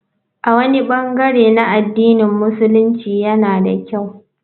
A wani bangare na addinin Musulunci yana da kyau.